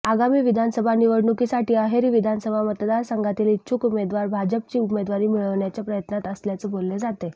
आगामी विधानसभा निवडणुकीसाठी अहेरी विधानसभा मतदारसंघातील इच्छुक उमेदवार भाजपची उमेदवारी मिळवण्याच्या प्रयत्नात असल्याचं बोललं जातंय